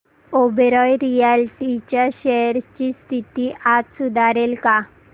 Oberoi realty च्या shares ची स्थिती आज सुधारेल का